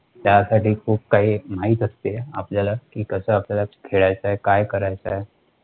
त्यासाठी खूप काही माहित असते, आपल्याला कि कसे आपल्याला खेळायचं, काय करायचंय.